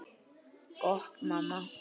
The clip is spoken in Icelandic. Gott mamma.